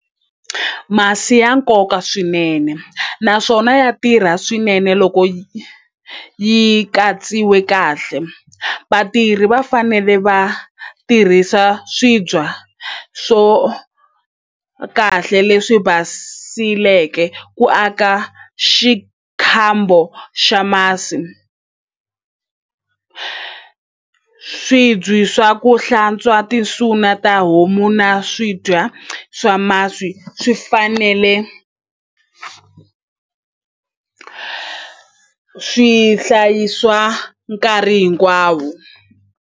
Masi ya nkoka swinene naswona ya tirha swinene loko yi katsiwe kahle vatirhi va fanele va tirhisa swibya swo kahle leswi basileke ku aka xikhambo xa masi swibye swa ku hlantswa na ta homu na swidya swa masi swi fanele swi hlayisiwa nkarhi hinkwawo.